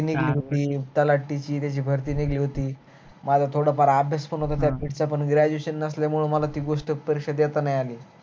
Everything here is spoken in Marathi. मी त्य्याची भरती दिली होती मग आता थोड फार अभ्यास पण होत त्या post छ पण graduation नसल्य्यामुळे मला ती गोष्ट परीक्षा देता नाही आली